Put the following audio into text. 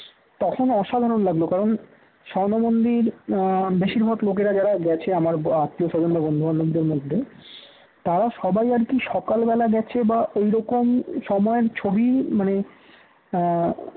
তখন অসাধারণ লাগল কারণ স্বর্ণমন্দির আহ বেশিরভাগ লোকেরা যারা গেছে আমার আত্মীয়স্বজন বন্ধুবান্ধবদের মধ্যে তারা সবাই আর কি সকাল বেলা গেছে বা ওইরকম সময় ছবি মানে আহ